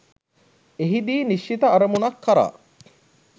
එහිදී නිශ්චිත අරමුණක් කරා